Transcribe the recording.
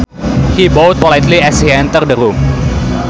He bowed politely as he entered the room